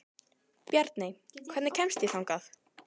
Bjarney, hvernig kemst ég þangað?